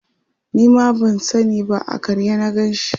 Nima ban sani ba a karye na Ganshi